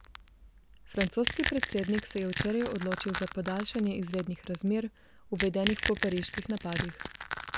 Francoski predsednik se je včeraj odločil za podaljšanje izrednih razmer, uvedenih po pariških napadih.